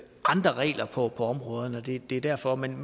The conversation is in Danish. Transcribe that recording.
andre regler på området det er derfor men